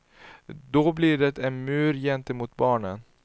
Då blir det en mur gentemot barnen.